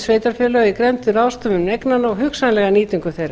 í grennd um ráðstöfun eignanna og hugsanlega nýtingu þeirra